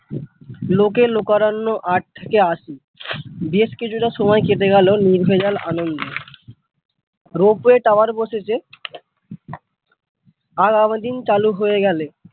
লোকে-লোকারণ্য আট থেকে আশি বেশ কিছুটা সময় কেটে গেল নির্ভেজাল আনন্দে Ropeway tower বসেছে চালু হয়ে গেলে ।